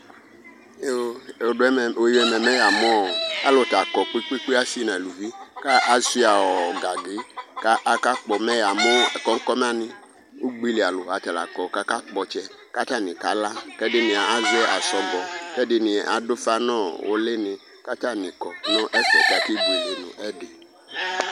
Ɛmɛ alʋkɔ kpe kpe kpe asi nʋ alʋvi kʋ asuia gangi kʋ akakpɔ mɛ yamʋ kɔnkɔna ni ʋgbeli alʋ atala kɔ kʋ akakpɔ ɔtsɛ kʋ atani kala kʋ ɛdini azɛ asɔgɔ kʋ ɛdini adʋ ʋfa nʋ ulini kʋ atani akɔ nʋ ɛfɛ kʋ akebuele nʋ ɛdi